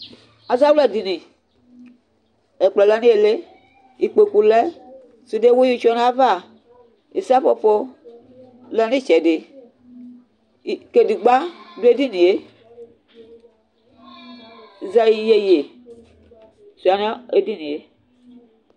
azawla dini ɛkplɔ lɛ n'ili ikpoku lɛ sude wiu tsue n'ava sɛƒoƒo lɛ n'itsɛdi kadegba do edinie yeyezɛlɛ sua no edinie